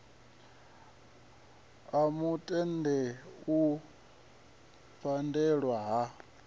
a mutale u pandelwa ha